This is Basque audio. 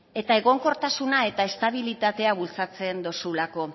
eta egonkortasuna eta estabilitatea bultzatzen duzulako